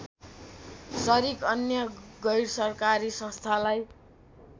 सरिक अन्य गैरसरकारी संस्थालाई